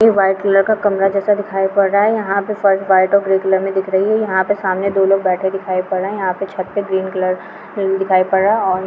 यहां white colour कमरा जेसा दिखाय पड़ रहा है यहा पर पर्स वाईट और ब्लू कलर में दिख हया पे सामने दो लोग बेठे दिखाय पड़ रहे है यहा पे छत पे ग्रीन कलर दिखाय पड़ रहे है और--